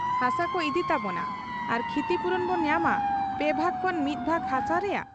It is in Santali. ᱦᱟᱥᱟᱠᱚ ᱤᱫᱤ ᱛᱟᱵᱚᱱᱟ ᱟᱨ ᱠᱷᱤᱛᱤᱯᱩᱨᱚᱱ ᱵᱚ ᱧᱟᱢᱟ ᱯᱮ ᱵᱷᱟᱜᱽ ᱠᱷᱚᱱ ᱢᱤᱫ ᱵᱷᱟᱜᱽ ᱦᱟᱥᱟ ᱨᱮᱭᱟᱜ ᱾